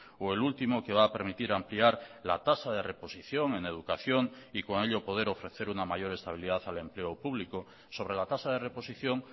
o el último que va a permitir ampliar la tasa de reposición en educación y con ello poder ofrecer una mayor estabilidad al empleo público sobre la tasa de reposición